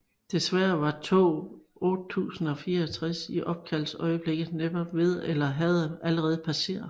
Desværre var tog 8064 i opkaldsøjeblikket netop ved at eller havde allerede passeret